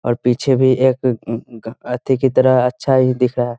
और पीछे भी एक ए-इ-इ अथी की तरह अच्छा ही दिख रहा है।